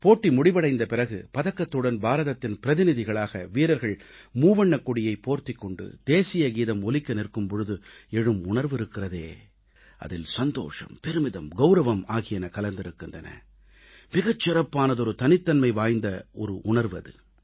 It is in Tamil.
போட்டி முடிவடைந்த பிறகு பதக்கத்துடன் பாரதத்தின் பிரதிநிதிகளாக வீரர்கள் மூவண்ணக்கொடியைப் போர்த்திக் கொண்டு தேசிய கீதம் ஒலிக்க நிற்கும் போது எழும் உணர்வு இருக்கிறதே அதில் சந்தோஷம் பெருமிதம் கவுரவம் ஆகியன கலந்திருக்கின்றன மிகச் சிறப்பான தனித்தன்மை வாய்ந்த ஒரு உணர்வு அது